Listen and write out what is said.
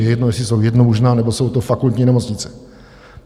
Je jedno, jestli jsou jednomužná, nebo jsou to fakultní nemocnice.